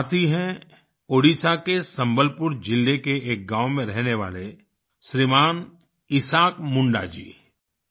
ये साथी हैं ओडिशा के संबलपुर जिले के एक गाँव में रहने वाले श्रीमान् ईसाक मुंडा जी